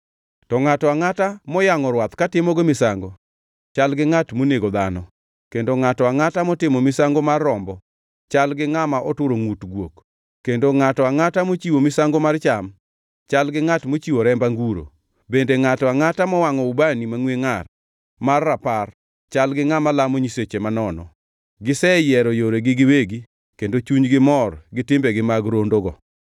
To ngʼato angʼata moyangʼo rwath katimogo misango chal gi ngʼat monego dhano, kendo ngʼato angʼata motimo misango mar rombo, chal gi ngʼama oturo ngʼut guok, kendo ngʼato angʼata mochiwo misango mar cham chal gi ngʼat mochiwo remb anguro, bende ngʼato angʼata mowangʼo ubani mangʼwe ngʼar mar rapar, chal gi ngʼama lamo nyiseche manono. Giseyiero yoregi giwegi kendo chunygi mor gi timbegi mag rondogo;